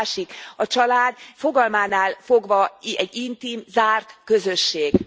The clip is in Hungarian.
A másik a család a fogalmánál fogva egy intim, zárt közösség.